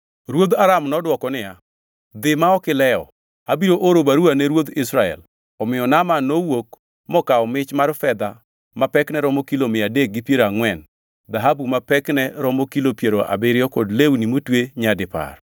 Ruodh Aram nodwoko niya, “Dhi ma ok ilewo. Abiro oro baruwa ne ruodh Israel.” Omiyo Naaman nowuok mokawo mich mar fedha ma pekne romo kilo mia adek gi piero angʼwen, dhahabu ma pekne romo kilo piero abiriyo kod lewni motwe nyadipar.